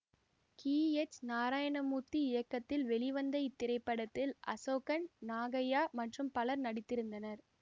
C H Narayanamurthy இயக்கத்தில் வெளிவந்த இத்திரைப்படத்தில் அசோகன் நாகைய்யா மற்றும் பலர் நடித்திருந்தனர்